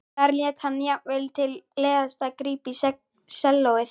Þar lét hann jafnvel til leiðast að grípa í sellóið.